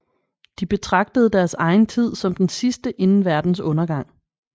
De betragtede deres egen tid som den sidste inden verdens undergang